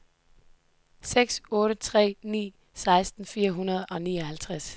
seks otte tre ni seksten fire hundrede og nioghalvtreds